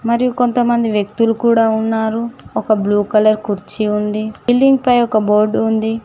మరియు కొంతమంది వ్యక్తులు కూడా ఉన్నారు ఒక బ్లూ కలర్ కుర్చీ ఉంది బిల్డింగ్ పై ఒక బోర్డు ఉంది.